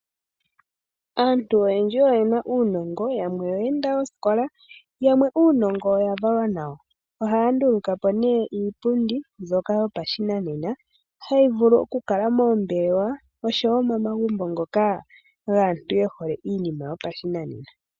Aantu oyendji oyena uunongo, yamwe oye enda oosikola. Yamwe uunogo oya valwa nawo. Ohaya ndulukapo nee iipundi mbyoka yopashinanena hayi vulu oku kala moombelewa oshowo momagumbo ngoka gaantu ye hole iinima yopashinanena.